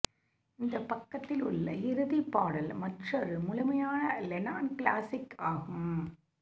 இந்த பக்கத்தில் உள்ள இறுதி பாடல் மற்றொரு முழுமையான லெனான் கிளாசிக் ஆகும்